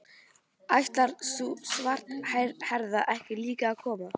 Ætlar sú svarthærða ekki líka að koma?